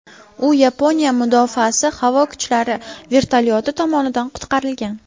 U Yaponiya mudofaasi havo kuchlari vertolyoti tomonidan qutqarilgan.